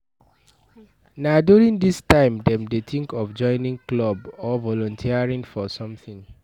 Na during this time dem dey think of joining club or volunteering for something